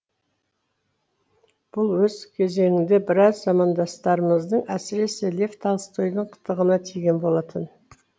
бұл өз кезеңінде біраз замандастарымыздың әсіресе лев толстойдың қытығына тиген болатын